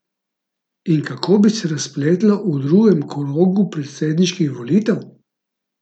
In kako bi se razpletlo v drugem krogu predsedniških volitev?